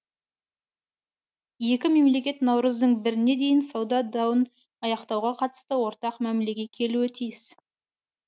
екі мемлекет наурыздың біріне дейін сауда дауын аяқтауға қатысты ортақ мәмілеге келуі тиіс